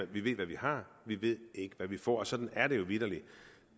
vi ved hvad vi har vi ved ikke hvad vi får og sådan er det jo vitterlig